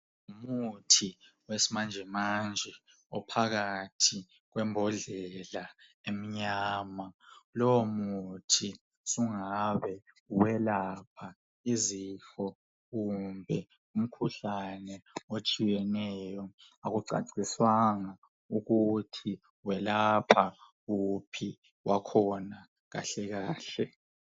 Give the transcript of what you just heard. Umuthi wesimanje manje ophakathi kwembodlela emnyama lowo muthi sungabe welapha izifo kumbe umkhuhlane otshiyeneyo akucaciswanga ukuthi welapha uphi wakhona kahlekahle.